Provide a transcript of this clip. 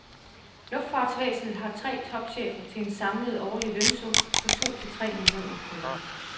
Luftfartsvæsenet har tre topchefer til en samlet årlig lønsum på to til tre millioner kroner.